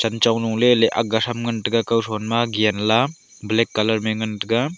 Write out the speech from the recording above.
chenchong lu leyley agga them ngantaga kauthon ma genla black colour ma ye ngantaga.